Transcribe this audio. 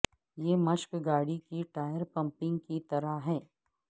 یہ مشق گاڑی کی ٹائر پمپنگ کی طرح ہے